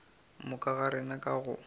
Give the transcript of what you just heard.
moka ga rena ka go